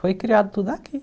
Foi criado tudo aqui.